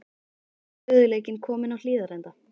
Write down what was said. Er stöðugleikinn kominn á Hlíðarenda?